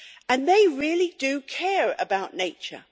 And they really do care about nature.